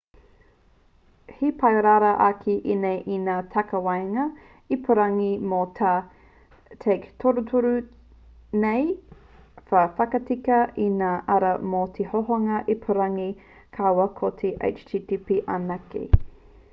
he pai rawa ake ēnā i ngā takawaenga ipurangi mō ngā take torutoru nei ka whakatika i ngā ara mō te hohonga ipurangi kaua ko te http anake